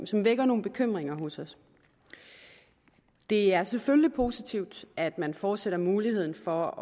som vækker nogen bekymring hos os det er selvfølgelig positivt at man fortsat har muligheden for